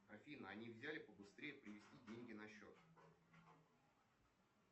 афина а нельзя ли побыстрее перевести деньги на счет